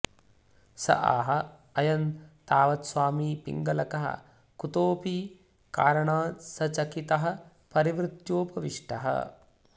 स आह अयं तावत्स्वामी पिङ्गलकः कुतोऽपि कारणात्सचकितः परिवृत्योपविष्टः